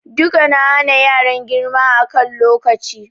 Duka na hana yaran girma a kan lokaci.